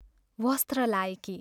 वस्त्र लाएकी.....